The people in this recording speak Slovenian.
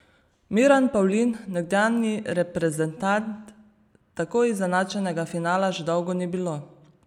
Miran Pavlin, nekdanji reprezentant: 'Tako izenačenega finala že dolgo ni bilo.